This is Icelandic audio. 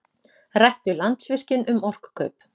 Rætt við Landsvirkjun um orkukaup